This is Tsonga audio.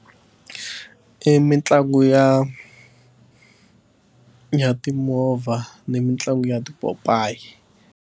I mitlangu ya ya timovha ni mitlangu ya tipopayi.